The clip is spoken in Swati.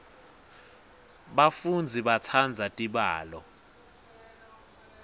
bafundzi batsandza tibalo